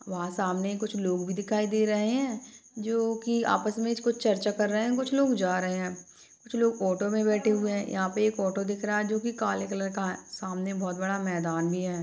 वहाँ सामने कुछ लोग भी दिखाई दे रहे है जो की आपस मे कुछ चर्चा कर रहे है कुछ लोग जा रहे है कुछ लोग ऑटो मे बैठे हुए है यहाँ पे एक ऑटो दिख रहा है जो की काले कलर का है सामने बहुत बड़ा मैदान भी है ।